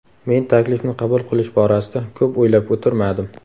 Men taklifni qabul qilish borasida ko‘p o‘ylab o‘tirmadim.